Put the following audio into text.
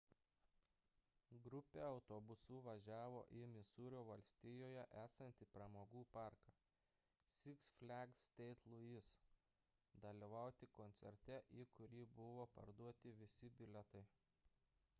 grupė autobusu važiavo į misūrio valstijoje esantį pramogų parką six flags st. louis dalyvauti koncerte į kurį buvo parduoti visi bilietai